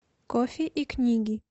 кофе и книги